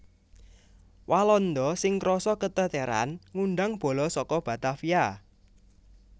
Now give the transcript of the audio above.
Walanda sing krasa keteteran ngundang bala saka Batavia